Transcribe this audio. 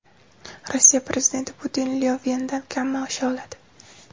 Rossiya prezidenti Putin Lyovendan kam maosh oladi.